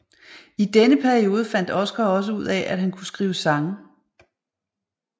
I denne periode fandt Oscar også ud af at han kunne skrive sange